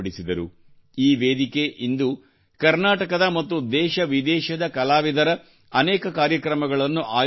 ಈ ವೇದಿಕೆ ಇಂದು ಕರ್ನಾಟಕದ ಮತ್ತು ದೇಶವಿದೇಶದ ಕಲಾವಿದರ ಅನೇಕ ಕಾರ್ಯಕ್ರಮಗಳನ್ನು ಆಯೋಜಿಸುತ್ತದೆ